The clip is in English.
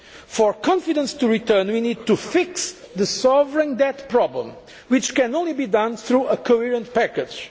need. For confidence to return, we need to fix the sovereign debt problem, which can only be done through a coherent package.